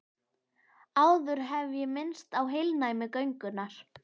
Áður hef ég minnst á heilnæmi göngunnar.